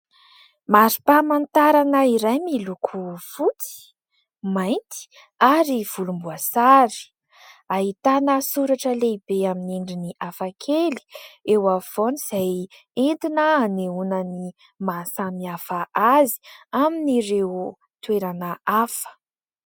Marim-pamantarana iray miloko fotsy, mainty ary volomboasary. Ahitana soratra lehibe amin'ny endriny hafakely eo afovoany izay entina anehoana ny mahasamihafa azy amin'ireo toerana hafa.